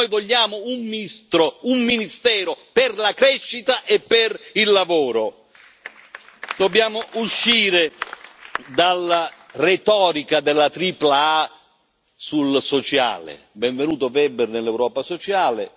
Noi vogliamo un ministero per la crescita e per il lavoro. Dobbiamo uscire dalla retorica della tripla A sul sociale benvenuto, on. Weber, nell'Europa sociale